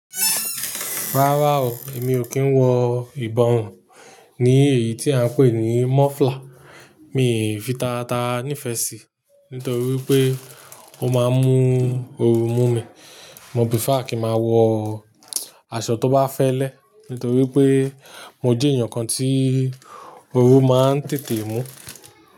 Rárá o, èmi ò kí ń wọ ìbọ̀run ní èyí tí à ń pè ní muffler, mi ò fi tata nífẹ̀ẹ́ sí, nítorí wipé ó máa ń mú oru mú mi. Mo prefer kí máa wọ aṣọ tó bá fẹ́lẹ́, nítorí pé mo jẹ́ èèyàn kan tí oru máa ń tètè mú.